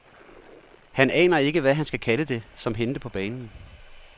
Han aner ikke, hvad han skal kalde det, som hændte på banen.